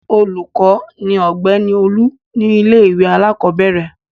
Olùkọ́ ni Ọ̀gbẹ́ni Olú ní ilé-ìwé alákọ̀ọ́bẹ̀rẹ̀.